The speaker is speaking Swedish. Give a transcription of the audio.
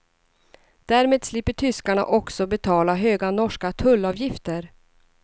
Därmed slipper tyskarna också betala höga norska tullavgifter.